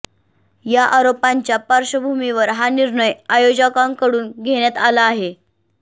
या आरोपांच्या पार्श्वभूमीवर हा निर्णय आयोजकांकडून घेण्यात आला आहे